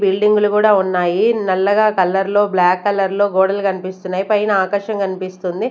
బిల్డింగులు కూడా ఉన్నాయి నల్లగా కలర్ లో బ్లాక్ కలర్ లో గోడలు కనిపిస్తున్నాయి పైన ఆకాశం కనిపిస్తుంది.